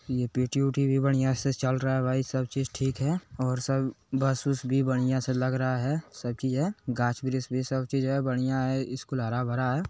ये पी_टी - उटी भी बढ़िया से चल रहा है भाई सब चीज ठीक है और सब बस उस भी बढ़िया से लग रहा है सब चीज है गाछ-वृछ भी सब चीज है बढ़िया है स्कूल हरा-भरा है।